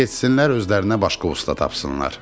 Getsinlər özlərinə başqa usta tapsınlar.